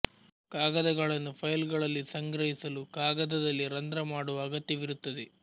ಕಾಗದಗಳನ್ನು file ಗಳಲ್ಲಿ ಸಂಗ್ರಹಿಸಲು ಕಾಗದದಲ್ಲಿ ರಂದ್ರ ಮಾಡುವ ಅಗತ್ಯ ವಿರುತ್ತದೆ